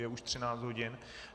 Je už 13 hodin.